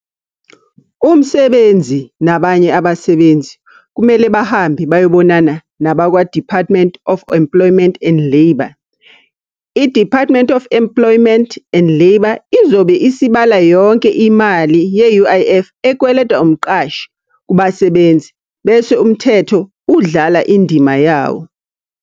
Umsebenzi nabanye abasebenzi, kumele bahambe bayobonana nabakwa-Department of Employment and Labour. I-Department of Employment and Labour izobe isibala yonke imali ye-U_I_F ekweletwa umqashi kubasebenzi, bese umthetho udlala indima yawo.